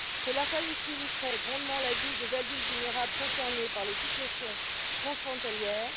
Cela faciliterait grandement la vie des adultes vulnérables concernés par les situations transfrontalières.